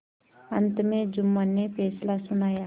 अंत में जुम्मन ने फैसला सुनाया